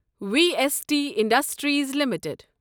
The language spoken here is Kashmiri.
V S T industries limited